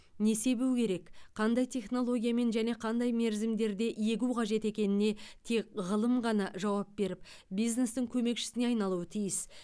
не себу керек қандай технологиямен және қандай мерзімдерде егу қажет екеніне тек ғылым ғана жауап беріп бизнестің көмекшісіне айналуы тиіс